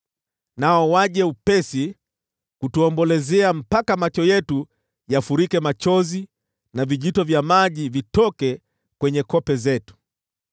Nao waje upesi na kutuombolezea, mpaka macho yetu yafurike machozi na vijito vya maji vitoke kwenye kope zetu.